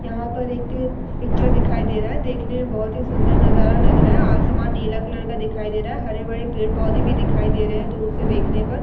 यहाँ पर एक पिक्चर दिखाई दे रहा है | देखने में बहुत ही सुन्दर नजारा लग रहा है। आसमान नीला कलर का दिखाई दे रहा है | हरे-भरे पेड़-पौधे भी दिखाई दे रहे हैं दूर से देखने पर।